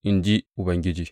in ji Ubangiji.